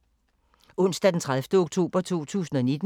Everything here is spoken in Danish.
Onsdag d. 30. oktober 2019